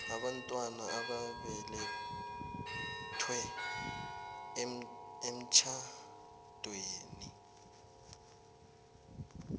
abantwana ababelethwe emtjhadweni